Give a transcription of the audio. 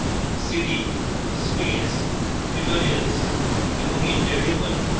cd space tutorials এবং enter টিপুন